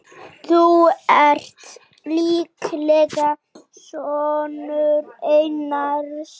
Þú ert líklega sonur Einars.